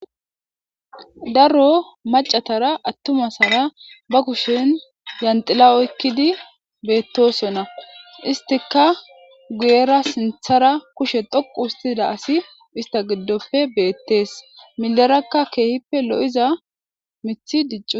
Daro mac'atara atumatara ba kushen yandhila oykidi betosona istika guyera sintara kushe dhoqu histida issigidope betes mileraka kehipe lo'za mithi dic'iutis.